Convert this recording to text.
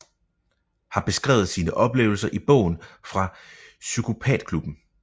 Har beskrevet sine oplevelser i bogen Fra psykopatklubben